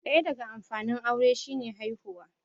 ɗaya daga amfanin aure shi ne haihuwa